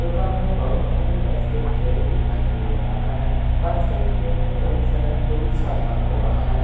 दुकान में बहुत सारे बास्केट ट्रे दिखाई दे रहा हैं बास्केट ट्रे मैं बहुत सारा फ्रूट्स रखा हुआ हैं।